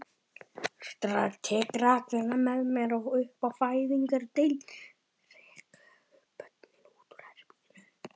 Tek rakvélina með mér upp á fæðingardeild.